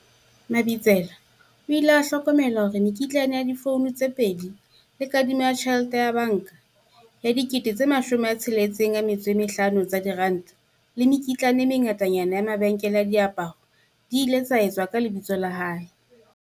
Mabitsela o ile a hlokomela hore mekitlane ya difouno tse pedi le kadimo ya tjhelete ya banka ya R65 000 le mekitlane e mengatanyana ya mabenkeleng a diaparo e ile etswa ka lebitso la hae.